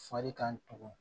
Fari kan tugun